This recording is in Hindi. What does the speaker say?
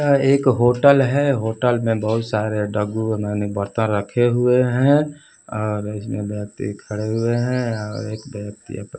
यह एक होटल है होटल में बहुत सारे डब्बू माने बर्तन रखे हुए हैं और इसमें व्यक्ति खड़े हुए है और एक व्यक्ति अप--